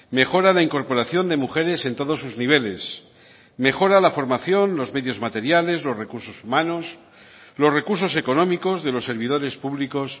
mejora la incorporación de mujeres en todos sus niveles mejora la formación los medios materiales los recursos humanos los recursos económicos de los servidores públicos